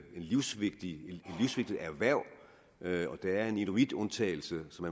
livsvigtigt erhverv erhverv der er en inuitundtagelse som